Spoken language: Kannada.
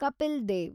ಕಪಿಲ್ ದೇವ್